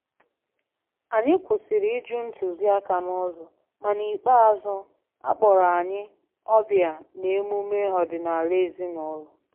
Anyị kwụsịrị ịjụ ntuziaka n`ụzọ, ma n`ikpeazu akpọrọ anyị ọbịa n`emume ọdịnaala ezin`ụlọ